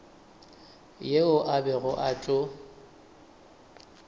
yeo a bego a tlo